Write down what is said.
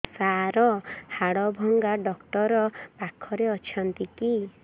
ସାର ହାଡଭଙ୍ଗା ଡକ୍ଟର ପାଖରେ ଅଛନ୍ତି କି